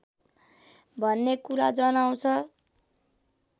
भन्ने कुरा जनाउँछ